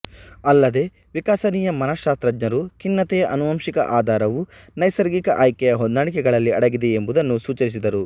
ಅಲ್ಲದೇ ವಿಕಸನೀಯ ಮನಶಾಸ್ತ್ರಜ್ಞರು ಖಿನ್ನತೆಯ ಆನುವಂಶಿಕ ಆಧಾರವು ನೈಸರ್ಗಿಕ ಆಯ್ಕೆಯ ಹೊಂದಾಣಿಕೆಗಳಲ್ಲಿ ಅಡಗಿದೆ ಎಂಬುದನ್ನು ಸೂಚಿಸಿದರು